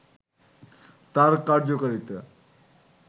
তার কার্যকারিতা